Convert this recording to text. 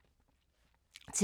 TV 2